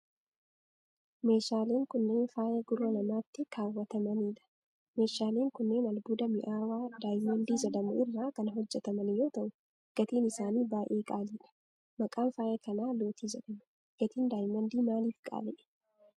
Meeshaaleen kunneen ,faaya gurra namaatti kaawwatamanii dha. Meeshaaleen kunneen, albuuda mi'aawaa Daayimandii jedhamu irraa kan hojjataman yoo ta'u, gatiin isaanii baay'ee qaaliidha. Maqaan faaya kanaa lootii jedhama. Gatiin daayimandii maalif qaala'e?